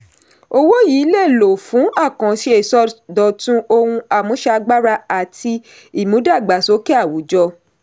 owó yii léè lò fún àkànṣe ìsọdọ̀tun ohun àmúṣagbára àti ìmúdàgbàsókè àwùjọ.